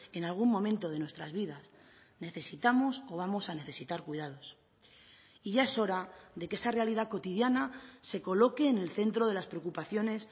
en algún momento de nuestras vidas necesitamos o vamos a necesitar cuidados y ya es hora de que esa realidad cotidiana se coloque en el centro de las preocupaciones